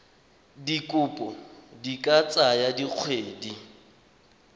dikopo di ka tsaya dikgwedi